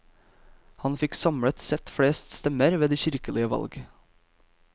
Han fikk samlet sett flest stemmer ved de kirkelige valg.